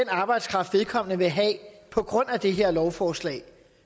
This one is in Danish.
arbejdskraft vedkommende vil have på grund af det her lovforslag